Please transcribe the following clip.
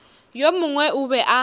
yo mongwe o be a